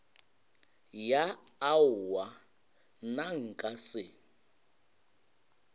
ya aowa nna nka se